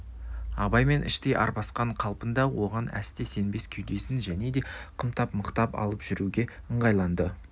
абаймен іштей арбасқан қалпында оған әсте сенбес кеудесін және де қымтап мықтап алып жүруге ыңғайланды